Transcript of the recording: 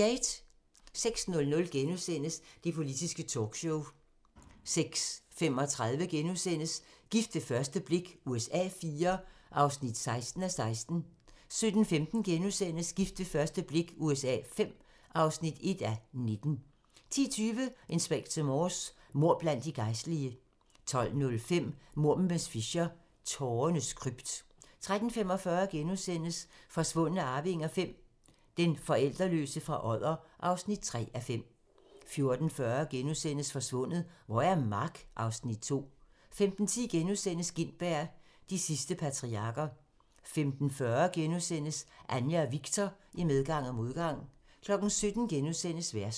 06:00: Det politiske talkshow * 06:35: Gift ved første blik USA IV (16:16)* 07:15: Gift ved første blik USA V (1:19)* 10:20: Inspector Morse: Mord blandt de gejstlige 12:05: Mord med miss Fisher: Tårernes krypt 13:45: Forsvundne arvinger V: Den forældreløse fra Odder (3:5)* 14:40: Forsvundet - hvor er Mark? (Afs. 2)* 15:10: Gintberg - de sidste patriarker * 15:40: Anja og Viktor - I medgang og modgang * 17:00: Versus *